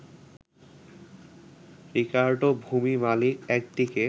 Ricardo, ভূমি মালিক একদিকে